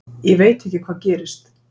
Ég veit ekki hvað gerist.